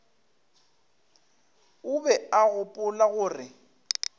o be a gopola gore